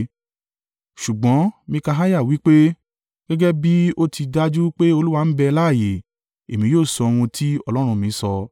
Ṣùgbọ́n Mikaiah wí pe, “Gẹ́gẹ́ bí ó ti dájú pé Olúwa ń bẹ láààyè, èmi yóò sọ ohun tí Ọlọ́run mi sọ.”